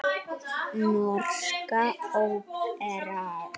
Norska óperan.